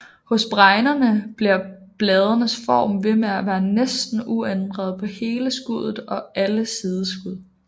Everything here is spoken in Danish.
Hos bregnerne bliver bladenes form ved med at være næsten uændret på hele skuddet og alle sideskud